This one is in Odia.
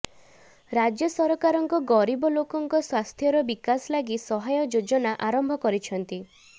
ରାଜ୍ୟସରକାରଙ୍କ ଗରିବ ଲୋକଙ୍କ ସ୍ୱାସ୍ଥ୍ୟର ବିକାଶ ଲାଗି ସହାୟ ଯୋଜନା ଆରମ୍ଭ କରିଛନ୍ତି